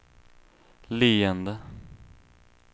leende